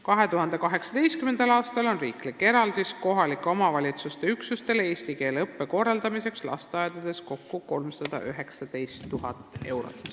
2018. aastal on riikliku eraldise suurus kohaliku omavalitsuse üksustele eesti keele õppe korraldamiseks lasteaedades kokku 319 000 eurot.